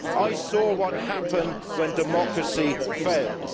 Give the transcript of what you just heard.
I saw what happened when democracy fails.